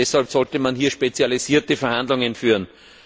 Deshalb sollte man hier spezialisierte Verhandlungen führen.